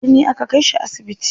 A birni aka kai shi asibiti.